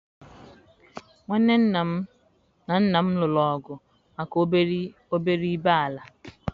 Nwanne nna m na nna m lụrụ ọgụ maka obere ibe ala.